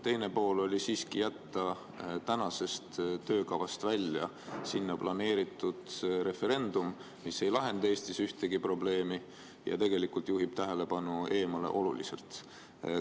Teine pool oli siiski see, et jätta tänasest töökavast välja sinna planeeritud referendum, mis ei lahenda ühtegi probleemi ja tegelikult juhib tähelepanu eemale oluliselt.